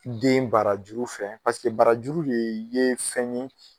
Den barajuru fɛ barajuru ye ye fɛn ye